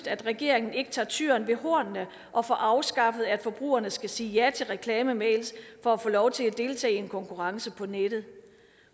at regeringen ikke tager tyren ved hornene og får afskaffet at forbrugerne skal sige ja til reklamemails for at få lov til at deltage i en konkurrence på nettet